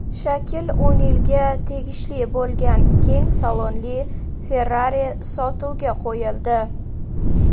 Shakil O‘nilga tegishli bo‘lgan keng salonli Ferrari sotuvga qo‘yildi .